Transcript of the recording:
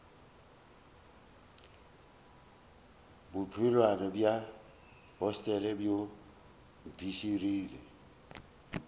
bophelwana bja hostele bo mpshirile